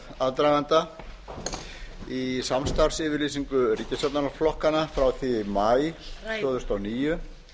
aðdraganda í samstarfsyfirlýsingu ríkisstjórnarflokkanna frá því í maí tvö þúsund og níu